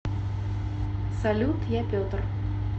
салют я петр